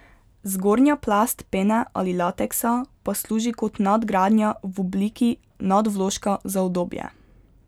Zgornja plast pene ali lateksa pa služi kot nadgradnja v obliki nadvložka za udobje.